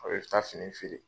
A bɛ taa fini feere.